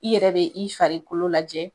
I yɛrɛ be i farikolo lajɛ